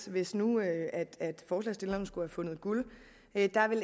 hvis nu forslagsstillerne skulle have fundet guld vil